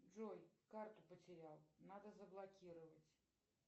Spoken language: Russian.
джой карту потерял надо заблокировать